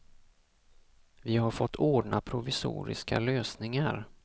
Vi har fått ordna provisoriska lösningar.